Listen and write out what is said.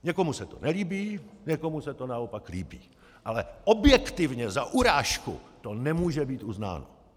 Někomu se to nelíbí, někomu se to naopak líbí, ale objektivně za urážku to nemůže být uznáno.